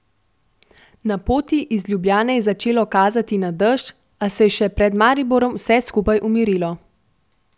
Na poti iz Ljubljane je začelo kazati na dež, a se je še pred Mariborom vse skupaj umirilo.